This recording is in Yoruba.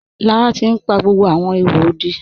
Lára ti n pa gbogbo awọn ìhò òdí.